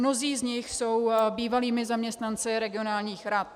Mnozí z nich jsou bývalými zaměstnanci regionálních rad.